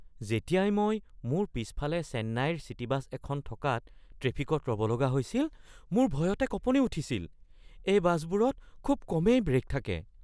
যেতিয়াই মই মোৰ পিছফালে চেন্নাইৰ চিটি বাছ এখন থকাত ট্ৰেফিকত ৰ'ব লগা হৈছিল, মোৰ ভয়তে কঁপনি উঠিছিল। এই বাছবোৰত খুব কমেই ব্ৰেক থাকে।